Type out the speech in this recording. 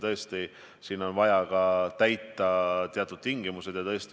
Tõesti, vaja on ka teatud tingimuste olemasolu.